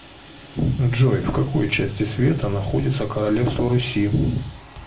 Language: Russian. джой в какой части света находится королевство руси